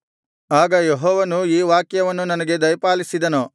ಆಗ ಯೆಹೋವನು ಈ ವಾಕ್ಯವನ್ನು ನನಗೆ ದಯಪಾಲಿಸಿದನು